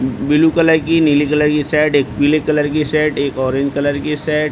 blue colour की नीले colour की शर्ट एक पीले कलर कि शर्ट एक ऑरेंज कलर की शर्ट --